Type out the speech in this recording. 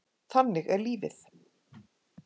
Þannig er lífið.